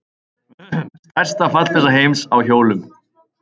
Stærsta fallbyssa heims á hjólum.